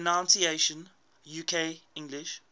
pronunciations uk english